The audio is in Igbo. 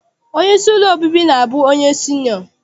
Onyeisi ụlọ obibi na-abụ onye sinịọ.